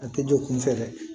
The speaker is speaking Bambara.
A tɛ don kunfɛ dɛ